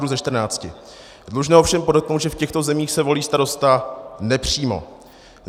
Dlužno ovšem podotknout, že v těchto zemích se volí starosta nepřímo.